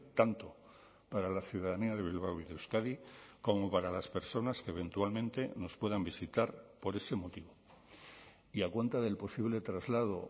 tanto para la ciudadanía de bilbao y de euskadi como para las personas que eventualmente nos puedan visitar por ese motivo y a cuenta del posible traslado